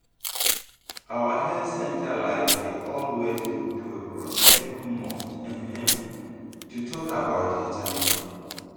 our health center like dey always do program every month um to talk about hiv